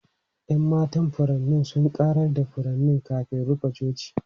Yan matan furanni sun ƙarar da furanni kafin rufe coci.